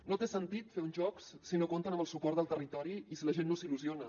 no té sentit fer uns jocs si no compten amb el suport del territori i si la gent no s’hi il·lusiona